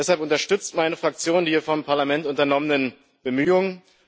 Deshalb unterstützt meine Fraktion die hier vom Parlament unternommenen Bemühungen.